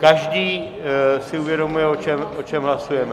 Každý si uvědomuje, o čem hlasujeme?